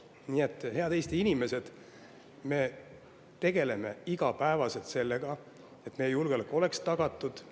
Nii et, head Eesti inimesed, me tegeleme iga päev sellega, et meie julgeolek oleks tagatud.